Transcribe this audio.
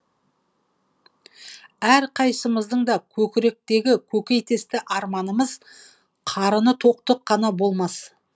әрқайсымыздың да көкіректегі көкейкесті арманымыз қарыны тоқтық қана болмас